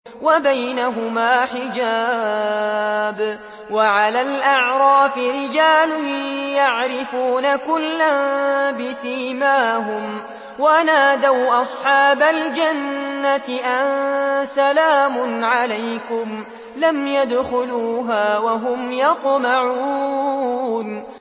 وَبَيْنَهُمَا حِجَابٌ ۚ وَعَلَى الْأَعْرَافِ رِجَالٌ يَعْرِفُونَ كُلًّا بِسِيمَاهُمْ ۚ وَنَادَوْا أَصْحَابَ الْجَنَّةِ أَن سَلَامٌ عَلَيْكُمْ ۚ لَمْ يَدْخُلُوهَا وَهُمْ يَطْمَعُونَ